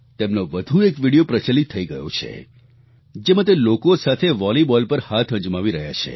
તેમનો વધુ એક વીડિયો પ્રચલિત થઈ ગયો છે જેમાં તે લોકો સાથે વોલીબોલ પર હાથ અજમાવી રહ્યા છે